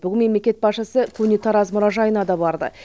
бүгін мемлекет басшысы көне тараз мұражайына да барды